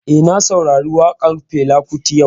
Eh, na saurari waƙan Fela Kuti yau